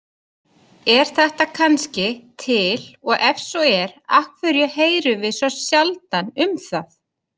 Er þetta kannski til og ef svo er af hverju heyrum við sjaldan um það?